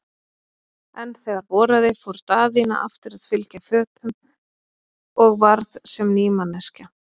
En þegar voraði fór Daðína aftur að fylgja fötum og varð sem ný manneskja.